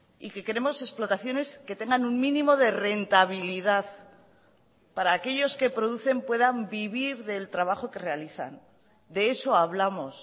y que queremos explotaciones que tengan un mínimo de rentabilidad para aquellos que producen puedan vivir del trabajo que realizan de eso hablamos